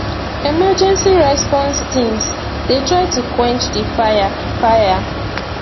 emergency response teams dey try to quench di fire fire